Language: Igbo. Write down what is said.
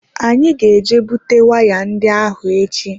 Anyị ga eje bute waya ndị ahụ echi.